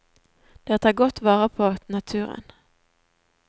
Dere tar godt vare på naturen.